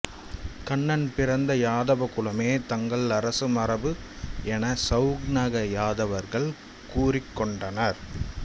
கண்ணன் பிறந்த யாதவ குலமே தங்கள் அரசமரபு என சௌனக யாதவர்கள் கூறிக்கொண்டனர்